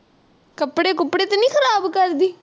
ਕੱਪੜੇ ਕੁਪੜੇ ਤੋਂ ਨਾਈ ਖ਼ਰਾਪ ਕਰਦੀ?